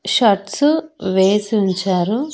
Shirts వేసుంచారు.